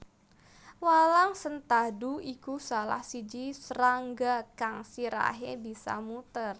Walang sentadu iku salah siji srangga kang sirahe bisa muter